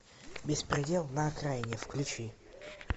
беспредел на окраине включи